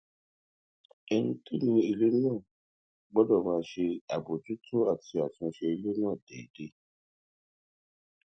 ẹni tó ni ilé náà gbódò máa ṣe àbójútó àti àtúnṣe ilé náà déédé